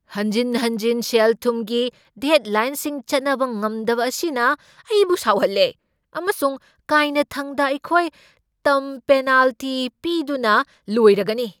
ꯍꯟꯖꯤꯟ ꯍꯟꯖꯤꯟ ꯁꯦꯜ ꯊꯨꯝꯒꯤ ꯗꯦꯗꯂꯥꯏ꯭ꯟꯁꯤꯡ ꯆꯠꯅꯕ ꯉꯝꯗꯕ ꯑꯁꯤꯅ ꯑꯩꯕꯨ ꯁꯥꯎꯍꯜꯂꯦ, ꯑꯃꯁꯨꯡ ꯀꯥꯏꯅꯊꯪꯗ ꯑꯩꯈꯣꯏ ꯇꯝ ꯄꯦꯅꯥꯜꯇꯤ ꯄꯤꯗꯨꯅ ꯂꯣꯏꯔꯒꯅꯤ꯫